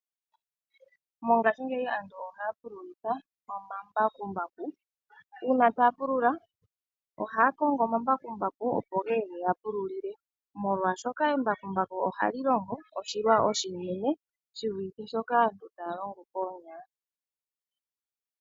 Mongaashingeyi aantu ohaya pu lulitha oma mbakumbaku, uuna taya pu lula ohaya Kongo oma mbakumbaku opo geye, ye ga pululile, molwa shoka embakumbaku ohali longo oshilwa oshinene, shi vulithe shoka aantu taya longo koonya.